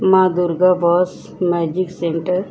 माँ दुर्गा बस magic centre --